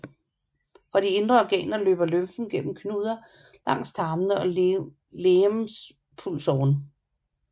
Fra de indre organer løber lymfen gennem knuder langs tarmene og legemspulsåren